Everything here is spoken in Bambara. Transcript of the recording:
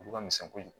Olu ka misɛn kojugu